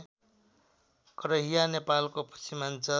करहिया नेपालको पश्चिमाञ्चल